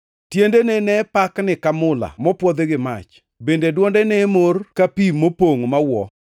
Tiendene ne pakni ka mula mopwodhi gi mach, bende dwonde ne mor ka pi mopongʼ mawuo.